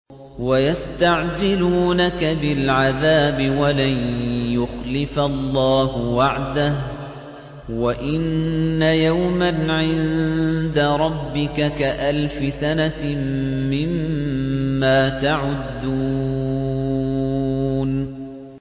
وَيَسْتَعْجِلُونَكَ بِالْعَذَابِ وَلَن يُخْلِفَ اللَّهُ وَعْدَهُ ۚ وَإِنَّ يَوْمًا عِندَ رَبِّكَ كَأَلْفِ سَنَةٍ مِّمَّا تَعُدُّونَ